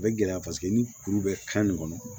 A bɛ gɛlɛya paseke ni kuru bɛ kan nin kɔnɔ